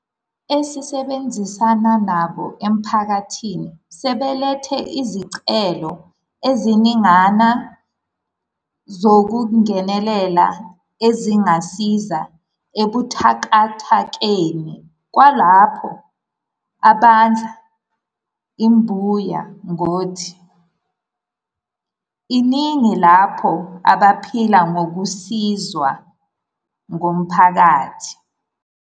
Esisebenzisana nabo emphakathini sebelethe izicelo eziningana zokungenelela ezingasiza ebuthakathakeni kwalabo abadla imbuya ngothi, iningi labo abaphila ngokusizwa ngumphakathi.